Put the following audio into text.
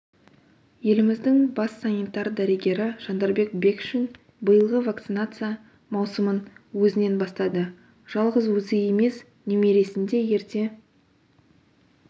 еліміздің бас санитар-дәрігері жандарбек бекшин биылғы вакцинация маусымын өзінен бастады жалғыз өзі емес немересін де ерте